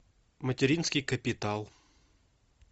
материнский капитал